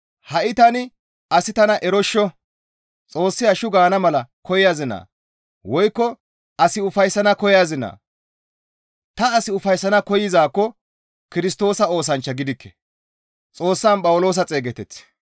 Ha7i tani asi tana eroshsho! Hashshu gaana mala koyazinayee? Xoossi hashshu gaana mala koyazinaa? Woykko as ufayssana koyazinaa? Ta as ufayssana koyzaakko Kirstoosa oosanchcha gidikke.